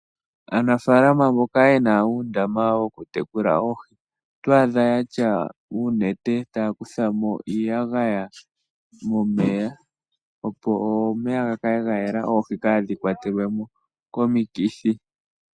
Aanafalama mboka yena uundama woku tekula oohi oto adha yatya uunete taya kuthamo iiyagaya momeya opo omeya ga kale ga yela oohi kadhi kwa twelwemo komikithi.